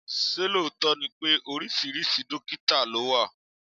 Ṣé lóòótọ́ ni pé oríṣiríṣi dọ́kítà ló wà?